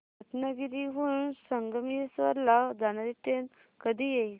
रत्नागिरी हून संगमेश्वर ला जाणारी ट्रेन कधी येईल